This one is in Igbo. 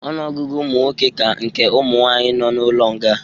Ọnụọgụgụ ụmụnwoke ka nke ụmụ nwanyị nọ n'ụlọ nga